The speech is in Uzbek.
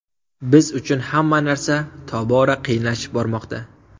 Biz uchun hamma narsa tobora qiyinlashib bormoqda.